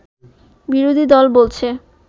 বিরোধী দল বলছে